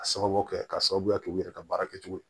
A sababu kɛ k'a sababuya kɛ u yɛrɛ ka baara kɛcogo ye